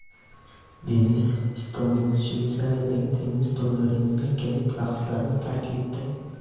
Denis Istomin Shveysariyadagi tennis turnirining yakkalik bahslarini tark etdi.